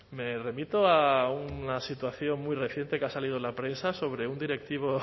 me remito a una situación muy reciente que ha salido en la prensa sobre un directivo